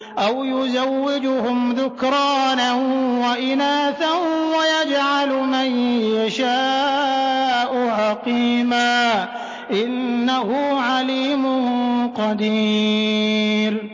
أَوْ يُزَوِّجُهُمْ ذُكْرَانًا وَإِنَاثًا ۖ وَيَجْعَلُ مَن يَشَاءُ عَقِيمًا ۚ إِنَّهُ عَلِيمٌ قَدِيرٌ